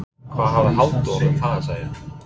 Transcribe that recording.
Hvað hafði Halldór um það að segja?